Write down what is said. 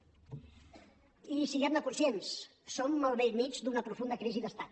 i siguem ne conscients som al vell mig d’una profunda crisi d’estat